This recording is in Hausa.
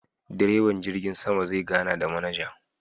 direban jirgin sama zai gana da manaja.